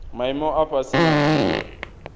maimo a fhasi na dziwe